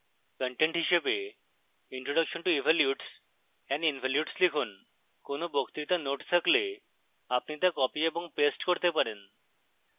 content হিসাবে introduction to evolutes and involutes লিখুন